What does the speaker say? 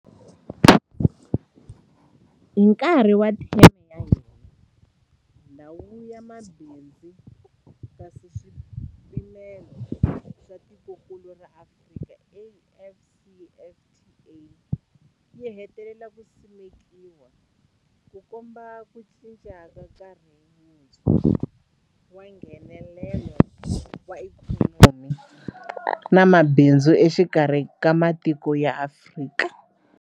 Hi nkarhi wa theme ya hina, Ndhawu ya Mabindzu ya Nkaswipimelo ya Tikokulu ra Afrika, AfCFTA, yi hetelele yi simekiwile, Ku komba ku cinca ka nkarhi wuntshwa wa Nghenelelano wa ikhonomi na mabindzu exikarhi ka matiko ya Afrika.